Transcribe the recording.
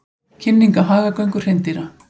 Kynning á hagagöngu hreindýra